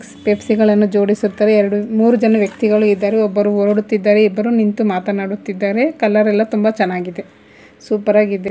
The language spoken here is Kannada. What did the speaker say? ಪೆಪ್ಸಿ ಗಳನ್ನು ಜೋಡಿಸುತ್ತದೆ ಎರಡು ಮೂರು ಜನ ವ್ಯಕ್ತಿಗಳು ಇದ್ದಾರೆ ಒಬ್ಬರು ಹೋರಡುತ್ತಿದ್ದಾರೆ ಇಬ್ಬರು ನಿಂತು ಮಾತನಾಡುತ್ತಿದ್ದಾರೆ ಕಲರೆಲ್ಲ ತುಂಬ ಚೆನ್ನಾಗಿದೆ ಸೂಪರಾಗಿದೆ.